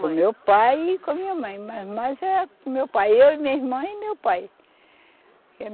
Com o meu pai e com a minha mãe, mas mais é com o meu pai, eu e minha irmã e meu pai.